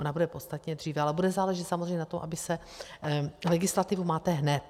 Ona bude podstatně dříve, ale bude záležet samozřejmě na tom, aby se... legislativu máte hned.